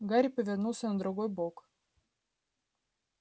гарри повернулся на другой бок